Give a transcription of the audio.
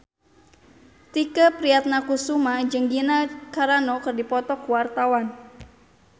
Tike Priatnakusuma jeung Gina Carano keur dipoto ku wartawan